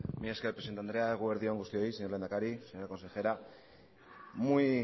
mila esker presidente andrea egun on guztioi señor lehendakari señora consejera muy